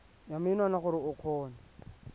ya menwana gore o kgone